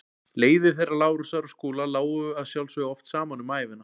Leiðir þeirra Lárusar og Skúla lágu að sjálfsögðu oft saman um ævina.